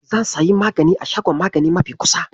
Zan sayi magani a shagon magani mafi kusa.